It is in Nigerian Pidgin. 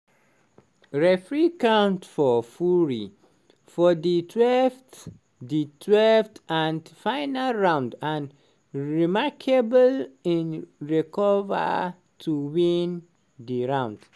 referee count for fury for di 12th di 12th and final round and remarkably im recova to win di round.